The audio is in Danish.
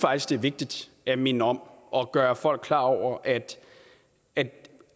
det er vigtigt at minde om og gøre folk klar over at det